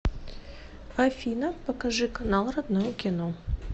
афина покажи канал родное кино